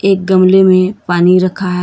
एक गमले में पानी रखा है।